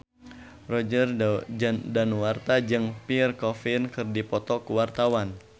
Roger Danuarta jeung Pierre Coffin keur dipoto ku wartawan